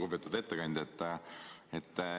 Lugupeetud ettekandja!